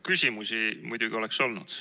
Küsimusi muidugi oleks olnud.